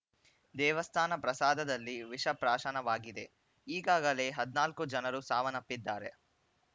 ದೇವಸ್ಥಾನ ಪ್ರಸಾದದಲ್ಲಿ ವಿಷ ಪ್ರಾಶನವಾಗಿದೆ ಈಗಾಗಲೇ ಹದಿನಾಲ್ಕು ಜನರು ಸಾವನ್ನಪ್ಪಿದ್ದಾರೆ